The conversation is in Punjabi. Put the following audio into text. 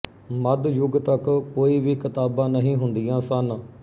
ਮੱਧ ਯੁੱਗ ਤੱਕ ਕੋਈ ਵੀ ਕਿਤਾਬਾਂ ਨਹੀਂ ਹੁੰਦੀਆਂ ਸਨ